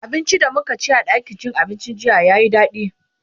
abincin da mukaci a ɗakin cin abincin jiya yayi daɗi